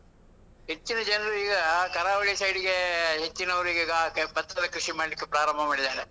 ಹೆಚ್ಚಿನ ಜನ್ರು ಈಗ, ಕರಾವಳಿ side ಗೆ ಹೆಚ್ಚಿನವರಿಗೀಗ ಭತ್ತದ ಕೃಷಿ ಮಾಡ್ಲಿಕ್ಕೆ ಪ್ರಾರಂಭ ಮಾಡಿದ್ದಾರೆ.